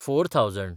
four thousand